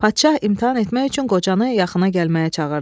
Padşah imtahan etmək üçün qocanı yaxına gəlməyə çağırdı.